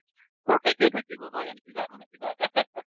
থাকিব নহয় জানো কিবা এটা নহয় কিবা এটা